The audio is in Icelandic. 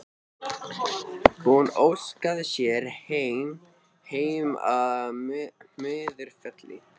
Hún óskaði sér heim, heim að Möðrufelli.